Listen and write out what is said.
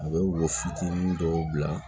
A bɛ woyo fitinin dɔw bila